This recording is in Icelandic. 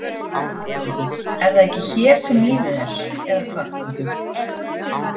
Er það ekki hér sem lífið er. eða hvað?